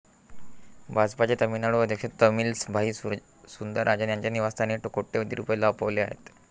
भाजपाचे तामिळनाडू अध्यक्ष तमिलसाई सुंदरराजन यांच्या निवास्थानी कोट्यवधी रुपये लपवलेले आहेत.